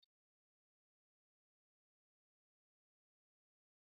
Dattijo Nneka ta samu kambun Onwa yayin da take sanye da rawani mai kwalliya, hikimarta ta zama fitila mai haske.